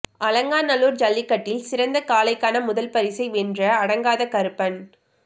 அலங்காநல்லூா் ஜல்லிக்கட்டில் சிறந்த காளைக்கான முதல் பரிசை வென்ற அடங்காத கருப்பன்